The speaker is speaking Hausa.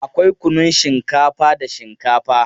Akwai kunnun shinkafa da shinkafa.